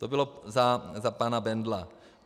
To bylo za pana Bendla.